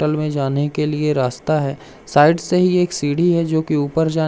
तल में जाने के लिए रास्ता हैं साइड से ही एक सिढी हैं जो की ऊपर जा --